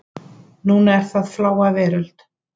Núna er það Fláa veröld.